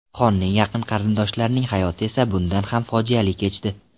Xonning yaqin qarindoshlarining hayoti esa bundan ham fojiali kechdi.